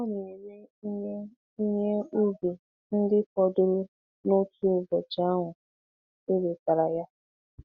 Ọ na-ere ihe ihe ubi ndị fọdụrụ n'otu ụbọchị ahụ e wetara ya.